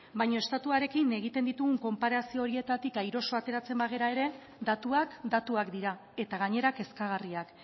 baina estatuarekin egiten ditugun konparazio horietatik airoso ateratzen bagara ere datuak datuak dira eta gainera kezkagarriak